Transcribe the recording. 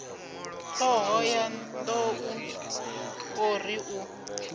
thohoyanḓ ou o ri u